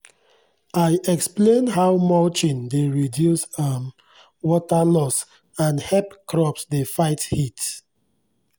i explain how mulching dey reduce um water loss and hep crops dey fight heat